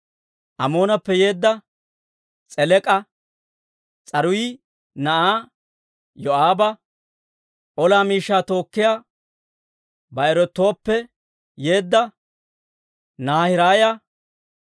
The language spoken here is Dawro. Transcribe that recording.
Amoonappe yeedda S'elek'a, S'aruuyi na'aa Yoo'aaba ola miishshaa tookkiyaa Ba'erootappe yeedda Naahiraaya,